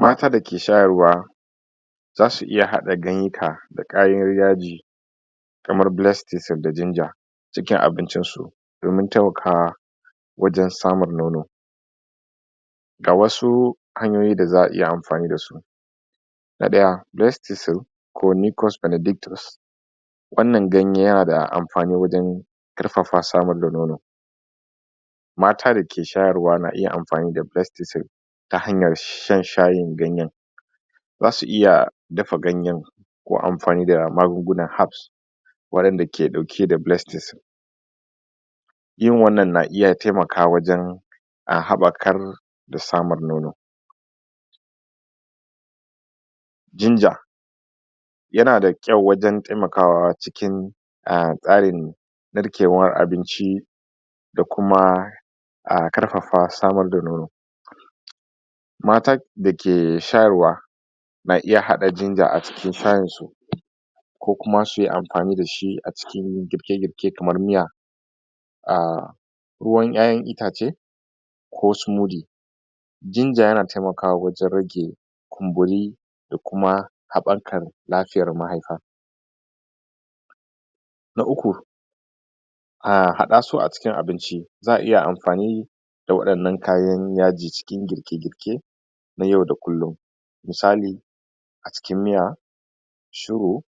Mata da ke shararwa za su iya hada ganyika da kayar yaji kaman blessed tea da jinger cikin abin cin su domin taimakawa wajen samun nono ga wasu hanyoyi da za a iya anfani dasu na daya, breast?? ko?? wan nan ganye yana da anfani wajen karfafa samar da nono mata da ke shayarwa na iya anfani da bestisol ta hanyan shan shayin ganyen za su iya dafa ganyen ko anfani da magungunuwa hafs wayan da ke dauke da blestis yin wan na na iya taimakawa wajen a hafakar da samun nono jinja yana da kwau wajen taimakawa cikin tsarin tsarkewan abinci da kuma karfafa samar da nono mata da ke shayarwa na iya hada jinja a cikin shayin su ko kuma suyi anfani dashi a cikin girke girke kaman miya ah ruwan yayan itace ko sumudi jinja yana taimakawa wajen rage kumburi da kuma habakar lafiayar mahaifa na uku hadasu a cikin abinci za a iya anfani da wayan nan kayan yaji cikin girke girke na yau da kullun misali a cikin miya shiro